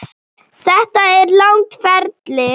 Þetta er langt ferli.